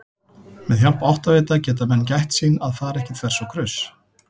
Með hjálp áttavita geta menn gætt sín að fara ekki þvers og kruss!